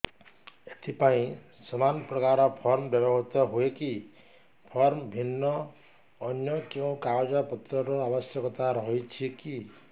ଏଥିପାଇଁ ସମାନପ୍ରକାର ଫର୍ମ ବ୍ୟବହୃତ ହୂଏକି ଫର୍ମ ଭିନ୍ନ ଅନ୍ୟ କେଉଁ କାଗଜପତ୍ରର ଆବଶ୍ୟକତା ରହିଛିକି